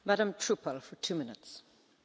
Frau Präsidentin, Herr Kommissar!